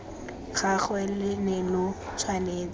gagwe lo ne lo tshwanetse